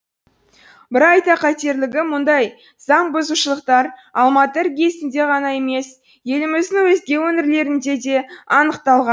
бір айта кетерлігі мұндай заңбұзушылықтар алматы іргесінде ғана емес еліміздің өзге өңірлерінде де анықталған